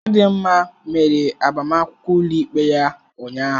Chidinma mere agbamakwụkwọ ụlọikpe ya ụnyahụ.